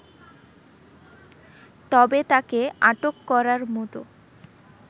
তবে তাকে আটক করার মত